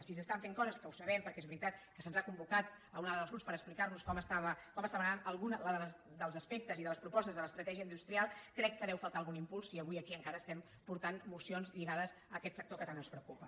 si s’estan fent coses que ho sabem perquè és veritat que se’ns ha convocat a una trobada del grups per explicar nos com estava anant algun dels aspectes i de les propostes de l’estratègia industrial crec que deu faltar algun impuls si avui aquí encara estem portant mocions lligades a aquest sector que tant ens preocupa